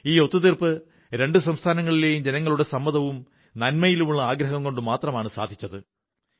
ഈ ഒത്തുതീർപ്പ് രണ്ടു സംസ്ഥാനങ്ങളിലെയും ജനങ്ങളുടെ സമ്മതവും നന്മയിലുള്ള ആഗ്രഹം കൊണ്ടുമാണ് സാധിച്ചത്